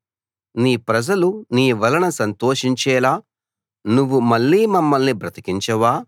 నీ ప్రజలు నీ వలన సంతోషించేలా నువ్వు మళ్ళీ మమ్మల్ని బ్రతికించవా